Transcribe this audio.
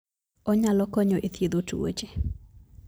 Onyalo konyo e thiedho tuoche.